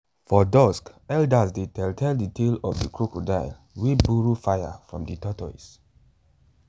for dusk elders dey tell tell de tale of de crocodile wey borrow fire from de tortoise